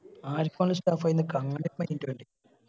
ആർക്ക് വേണെങ്കി staff ആയി നിക്കാ അങ്ങനെ ഒരു mind വേണ്ടി